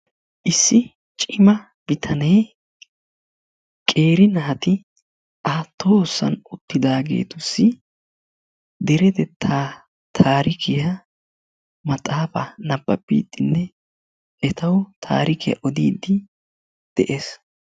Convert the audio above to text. Issi cima bitanee qeeri naati a tohossan uttidaageetussi deretettaa taarikiya maxxaafaa nabbabbiiddinne etawu taarikiya odiiddi de'es.